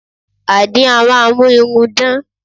Àdín a máa mú irun dán